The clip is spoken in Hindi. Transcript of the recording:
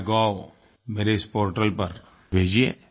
माय गोव मेरे इस पोर्टल पर भेजिए